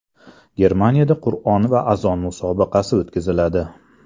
Germaniyada Qur’on va azon musobaqasi o‘tkaziladi.